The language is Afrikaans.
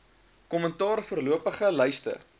kommentaar voorlopige lyste